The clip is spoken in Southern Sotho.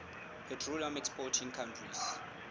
petroleum exporting countries